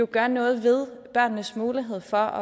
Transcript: gør noget ved børnenes mulighed for